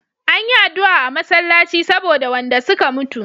Anyi adua a masallaci saboda wanda suka mutu